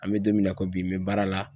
An bɛ don min na i ko bi n bɛ baara la